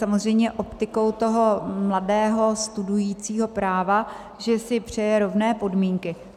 Samozřejmě optikou toho mladého studujícího práva, že si přeje rovné podmínky.